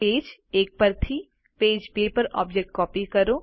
page એક પરથી page બે પર ઓબ્જેક્ટ કોપી કરો